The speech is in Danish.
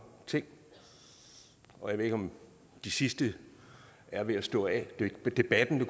ting og jeg ved ikke om de sidste er ved at stå af debatten det